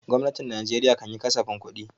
Gwamnatin Najeriya kan yi kasafin kudi.